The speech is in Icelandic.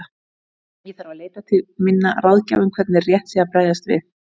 Ég þarf að leita til minna ráðgjafa um hvernig rétt sé að bregðast við.